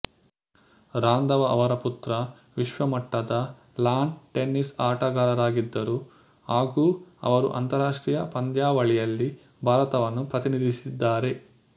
ರಾಂಧವ ಅವರ ಪುತ್ರ ವಿಶ್ವ ಮಟ್ಟದ ಲಾನ್ ಟೆನ್ನಿಸ್ ಆಟಗಾರರಾಗಿದ್ದರು ಹಾಗೂ ಹಲವಾರು ಅಂತರಾಷ್ಟೀಯ ಪಂದ್ಯಾವಳಿಯಲ್ಲಿ ಭಾರತವನ್ನು ಪ್ರತಿನಿಧಿಸಿದ್ದಾರೆ